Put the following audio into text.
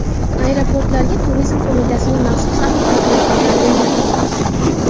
Aeroportlarga Turizm qo‘mitasining maxsus axborot markazlari o‘rnatilmoqda.